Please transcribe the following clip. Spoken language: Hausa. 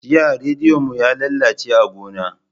Jiya rediyo mu yalalace a gona.